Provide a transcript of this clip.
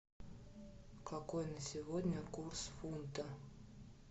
какой на сегодня курс фунта